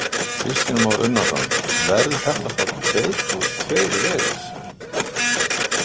Kristján Már Unnarsson: Verður þetta þá tveir plús tveir vegur?